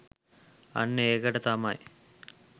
අන්න ඒකට තමයි